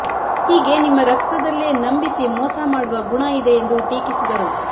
ಹೀಗೆ ನಿಮ್ಮ ರಕ್ತದಲ್ಲೇ ನಂಬಿಸಿ ಮೋಸ ಮಾಡುವ ಗುಣ ಇದೆ ಎಂದು ಟೀಕಿಸಿದರು